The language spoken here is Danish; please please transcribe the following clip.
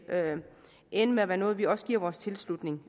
ende med at være noget vi også giver vores tilslutning